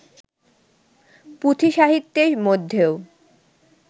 পুঁথিসাহিত্যের মধ্যেও